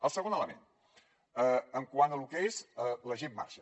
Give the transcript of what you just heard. el segon element quant a lo que és la gent marxa